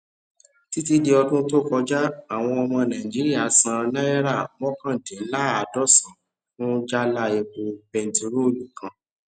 títí dì ọdún tí o kọjá àwọn ọmọ nàìjíríà san náírà mọkàndinlààdọsàn fún jálá epo bentiroolu kan